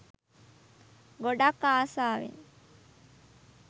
ගොඩක් ආසාවෙන්